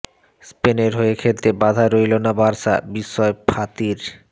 স্পেনের হয়ে খেলতে বাধা রইলো না বার্সা বিস্ময় ফাতির